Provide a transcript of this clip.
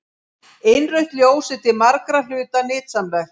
Innrautt ljós er til margra hluta nytsamlegt.